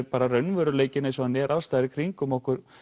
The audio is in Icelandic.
bara raunveruleikinn eins og hann er alls staðar í kringum okkur